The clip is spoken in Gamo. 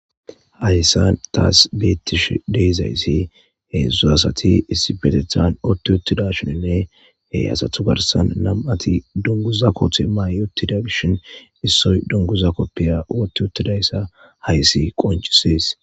Hayssan taas beettish deyzayssi heedzdzu asati issibetethan otti ottida shininne he asathu garsan nam'ati dunguza kothe mayotida gishin issoy dunguza koppiya otti ottidayssa hayssi qoncisees.